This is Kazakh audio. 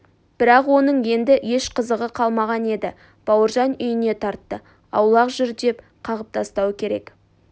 бірақ оның енді еш қызығы қалмаған еді бауыржан үйіне тартты аулақ жүр деп қағып тастау керек